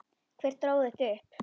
Hver dró þetta upp?